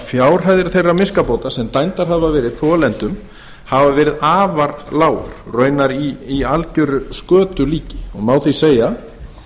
fjárhæðir þeirra miskabóta sem dæmdar hafa verið þolendum hafa verið afar lágar og raunar í algeru skötulíki má því segja